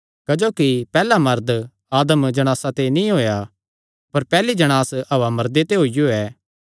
क्जोकि पैहल्ला मरद आदम जणासा ते नीं होएया अपर पैहल्ली जणांस हव्वा मर्दे ते होईयो ऐ